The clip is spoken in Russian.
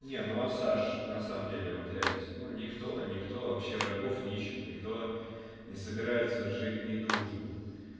не ну а саш на самом деле вот ляпис ну никто никто вообще врагов не ищет никто не собирается жить не дружно